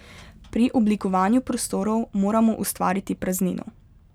Pri oblikovanju prostorov moramo ustvariti praznino.